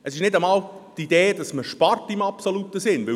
Es ist nicht einmal die Idee, dass man im absoluten Sinn spart.